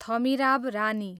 Thamirabarani